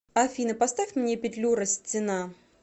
афина поставь мне петлюра стена